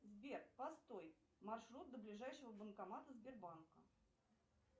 сбер постой маршрут до ближайшего банкомата сбербанка